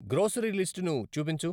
grocery లిస్టును చూపించు